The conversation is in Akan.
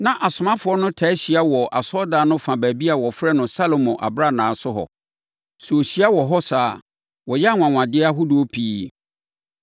Na asomafoɔ no taa hyia wɔ asɔredan no fa baabi a wɔfrɛ no “Salomo Abrannaa” so hɔ. Sɛ wɔhyia wɔ hɔ saa a, wɔyɛ anwanwadeɛ ahodoɔ pii.